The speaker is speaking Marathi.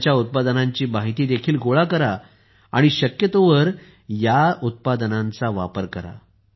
त्यांच्या उत्पादनांची माहिती देखील गोळा करा आणि शक्यतोवर या उत्पादनांचा वापर करा